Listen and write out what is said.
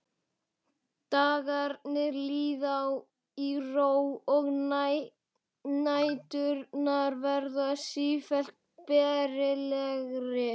Dagarnir líða í ró og næturnar verða sífellt bærilegri.